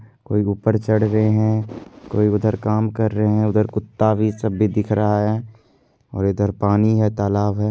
कोई ऊपर चढ़ रहे है कोई उधर काम कर रहे है उधर कुत्ता भी सब भी दिख रहा है और इधर पानी है तालाब है।